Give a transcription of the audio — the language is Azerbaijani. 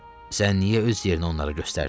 Sən niyə öz yerini onlara göstərdin?